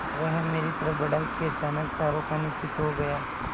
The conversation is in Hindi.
वह मेरी तरफ़ बढ़ा कि अचानक चारों खाने चित्त हो गया